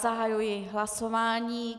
Zahajuji hlasování.